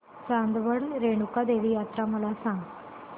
चांदवड रेणुका देवी यात्रा मला सांग